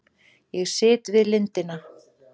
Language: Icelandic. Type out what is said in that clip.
Ég sit við lindina.